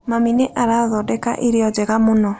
Mami nĩ arathondeka irio njega mũno.